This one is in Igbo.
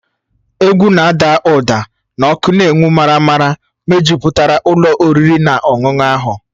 Egwu na-ada ụda na ọkụ na-enwu maramara mejupụtara ụlọ oriri na ọṅụṅụ ahụ